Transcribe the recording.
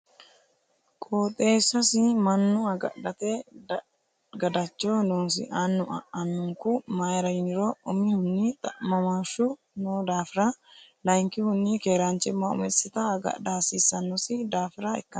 Qooxeessasi mannu agadhate gadacho noosi annu annunku mayra yiniro umihunni xa'mamoshu no daafira layinkihunni keeranchima umisitta agadha hasiisanosi daafira ikkano.